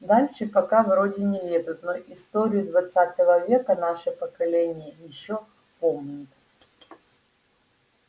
дальше пока вроде не лезут но историю двадцатого века наше поколение ещё помнит